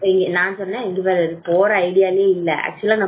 நான் சொன்னேன் இங்க பாரு போற idea வே இல்ல actual ல